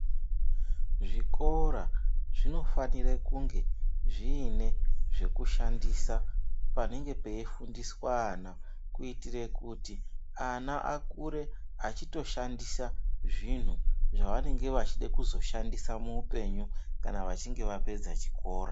Zvikora zvinofanira kunge zvine zvekushandisa panenge peifundiswa ana kuitira kuti ana akure achishandisa zvinhu zvaunenge achida kuzoshandisa muhupenyu kana achinge apedza chikora.